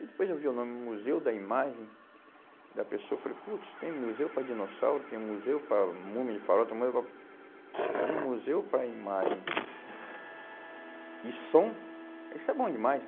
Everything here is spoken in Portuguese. E depois eu vi o nome Museu da Imagem, e da pessoa eu falei, putz, tem museu para dinossauro, tem museu para múmia de faraó, tem museu para... Mas um museu para imagem e som, isso é bom demais.